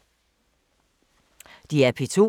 DR P2